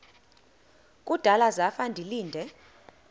kudala zafa ndilinde